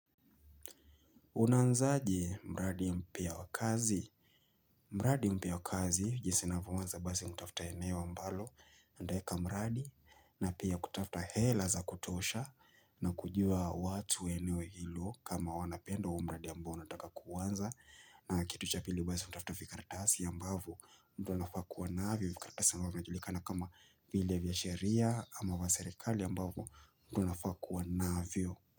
Unanzaje mradi mpya wa kazi? Mradi mpya wa kazi, jinsi unafyoanza basi unatafta eneo ambalo, nitaeka mradi, na pia kutafta hela za kutosha na kujua watu eneo hilo kama wanapenda huu mradi ambao unataka kuanza. Na kitu cha pili basi unatafta fikaratasi ambavyo mtu anafaa kuwa navyo, fikaratasi ambavyo inajulikana kama vile vya sheria ama vya serikali ambavyo mtu anafaa kuwa navyo.